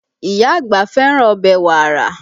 Ìyá àgbà fẹ́ràn ọbẹ̀ wàrà